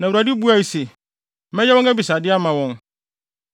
Na Awurade buae se, “Mɛyɛ wɔn abisade ama wɔn.